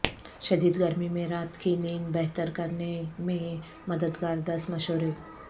شدید گرمی میں رات کی نیند بہتر کرنے میں مددگار دس مشورے